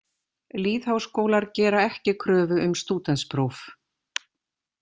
Lýðháskólar gera ekki kröfu um stúdentspróf.